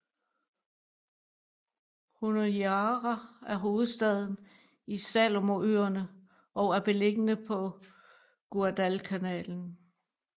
Honiara er hovedstaden i Salomonøerne og er beliggende på øen Guadalcanal